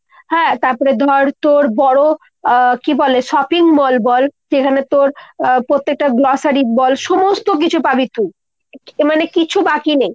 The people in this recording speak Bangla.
হ্যাঁ তারপরে ধর তোর বড়ো আহ কী বলে shopping mall বল যেখানে তোর পত্তেকটা grocery বল সমস্ত কিছু পাবি তুই। মানে কিছু বাকি নেই।